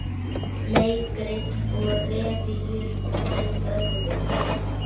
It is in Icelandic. Leikrit og revíur með öðrum